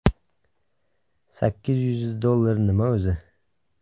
Sakkiz yuz dollar nima o‘zi?